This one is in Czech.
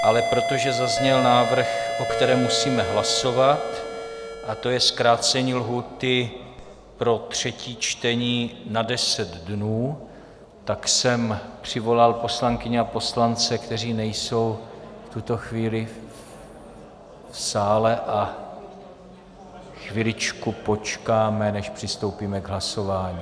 Ale protože zazněl návrh, o kterém musíme hlasovat, a to je zkrácení lhůty pro třetí čtení na deset dnů, tak jsem přivolal poslankyně a poslance, kteří nejsou v tuto chvíli v sále, a chviličku počkáme, než přistoupíme k hlasování...